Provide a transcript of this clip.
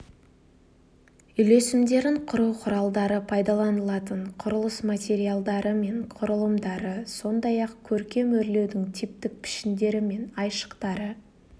үйлесімдерін құру құралдары пайдаланылатын құрылыс материалдары мен құрылымдары сондай-ақ көркем өрлеудің типтік пішіндері мен айшықтары